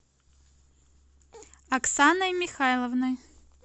аксаной михайловной